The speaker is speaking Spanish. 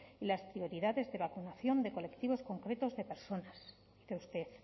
y las prioridades de vacunación de colectivos concretos de personas cree usted